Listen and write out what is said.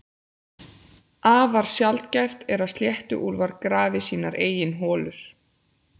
Afar sjaldgæft er að sléttuúlfar grafi sínar eigin holur.